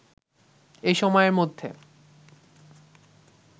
এ সময়ের মধ্যে